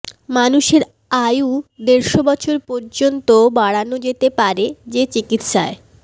মানুষের আয়ু দেড়শ বছর পর্যন্ত বাড়ানো যেতে পারে যে চিকিৎসায়